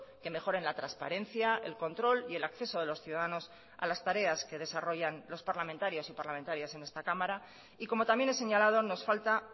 que mejoren la transparencia el control y el acceso de los ciudadanos a las tareas que desarrollan los parlamentarios y parlamentarias en esta cámara y como también he señalado nos falta